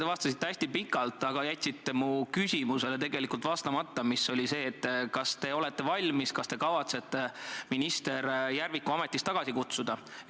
Te vastasite hästi pikalt, aga jätsite tegelikult vastamata mu küsimusele, mis oli see: kas te olete valmis, kas te kavatsete minister Järviku ametist tagasi kutsuda?